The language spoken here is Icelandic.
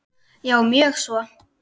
Já, mjög svo.